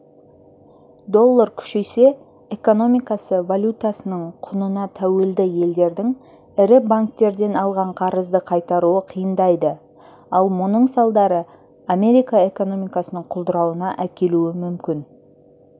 доллар күшейсе экономикасы валютасының құнына тәуелді елдердің ірі банктерден алған қарызды қайтаруы қиындайды ал мұның салдары америка экономикасының құлдырауына әкелуі мүмкін